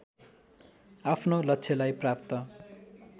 आफ्नो लक्ष्यलाई प्राप्त